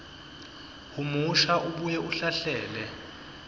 humusha abuye ahlahlele